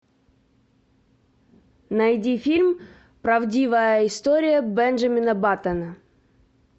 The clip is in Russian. найди фильм правдивая история бенджамина баттона